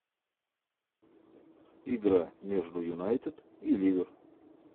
игра между юнайтед и ливер